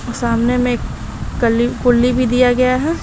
सामने में कलि कुल्ली भी दिया गया है।